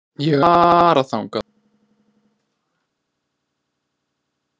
Ég ætla að fara þangað á morgun.